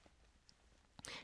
DR K